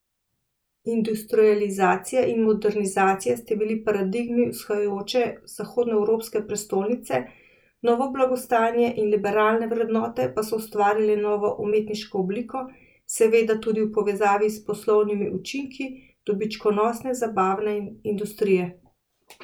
Industrializacija in modernizacija sta bili paradigmi vzhajajoče zahodnoevropske prestolnice, novo blagostanje in liberalne vrednote pa so ustvarile novo umetniško obliko, seveda tudi v povezavi s poslovnimi učinki dobičkonosne zabavne industrije.